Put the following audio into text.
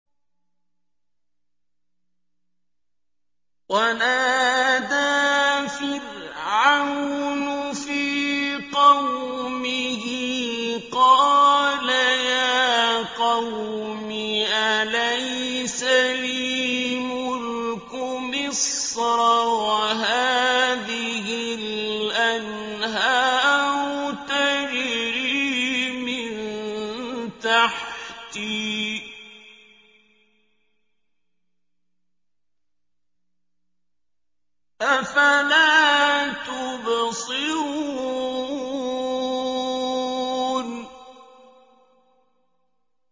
وَنَادَىٰ فِرْعَوْنُ فِي قَوْمِهِ قَالَ يَا قَوْمِ أَلَيْسَ لِي مُلْكُ مِصْرَ وَهَٰذِهِ الْأَنْهَارُ تَجْرِي مِن تَحْتِي ۖ أَفَلَا تُبْصِرُونَ